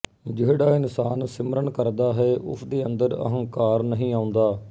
ਜਿਹੜਾ ਇਨਸਾਨ ਸਿਮਰਨ ਕਰਦਾ ਹੈ ਉਸ ਦੇ ਅੰਦਰ ਅਹੰਕਾਰ ਨਹੀਂ ਆਉਂਦਾ